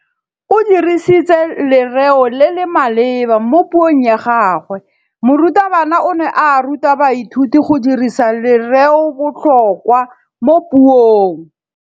O dirisitse lerêo le le maleba mo puông ya gagwe. Morutabana o ne a ruta baithuti go dirisa lêrêôbotlhôkwa mo puong.